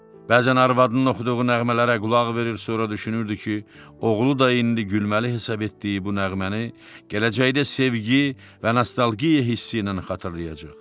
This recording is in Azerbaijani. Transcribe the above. Bəzən arvadının oxuduğu nəğmələrə qulaq verir, sonra düşünürdü ki, oğlu da indi gülməli hesab etdiyi bu nəğməni gələcəkdə sevgi və nostalgiya hissi ilə xatırlayacaq.